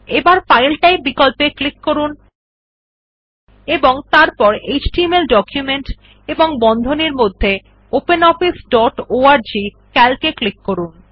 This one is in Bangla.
এবার ফাইল টাইপ বিকল্পে ক্লিক করুন এবং তারপর এচটিএমএল ডকুমেন্ট এবং বন্ধনীর মধ্যে ওপেনঅফিস ডট অর্গ সিএএলসি এ ক্লিক করুন